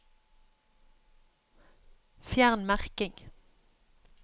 Fjern merking